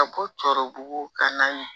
Ka bɔ cɔrɔ bugun ka na